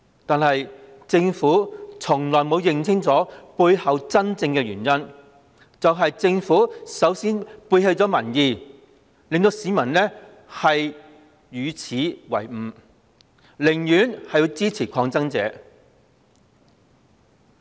然而，政府從未認清背後的真正原因是它首先背棄民意，令市民耻與為伍，寧願支持抗爭者。